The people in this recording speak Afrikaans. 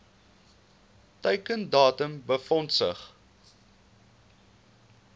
teiken datum befondsing